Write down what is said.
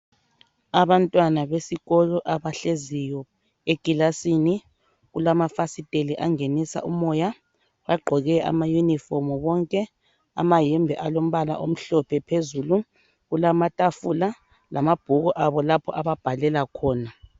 Abantwana besikolo abahleziyo ekilasini. Kulamafasiteli angenisa umoya. Bagqoke amayinifomu bonke. Amayembe alombala omhlophe phezulu. Kulamatafula lamabhuku abo lapha ababhalela khona.